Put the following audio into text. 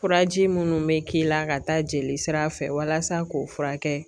Furaji munnu bɛ k'i la ka taa jeli sira fɛ walasa k'o furakɛ